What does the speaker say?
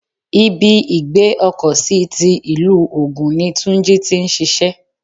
Ibi ìgbé ọkọ̀ sí ti ilu ogún ní Túnjí tí ń ṣíṣe.